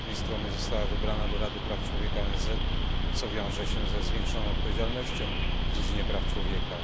Z jednej strony została wybrana do Rady Praw Człowieka i ONZ, co wiąże się ze zwiększoną odpowiedzialnością w dziedzinie praw człowieka.